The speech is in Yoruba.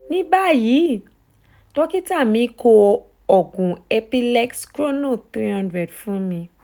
ni bayi dokita mi ko oogun epilex chrono three hundred fun mi